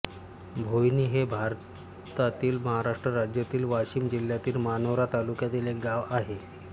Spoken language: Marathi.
भोयणी हे भारतातील महाराष्ट्र राज्यातील वाशिम जिल्ह्यातील मानोरा तालुक्यातील एक गाव आहे